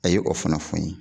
A ye o fana fɔ n ye.